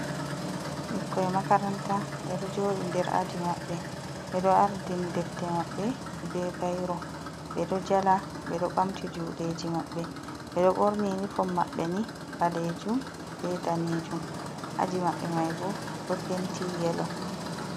Ɓikkon makaranta be ɗo jodi nder aji maɓɓe ɓe ɗo ardini defte maɓɓe be bairo ɓe ɗo jala, ɓe ɗo ɓamti judeji maɓɓe, ɓeɗo borni unifom maɓɓe ni ɓalejum be danejum aji mabbe mai bo ɗo penti yelo.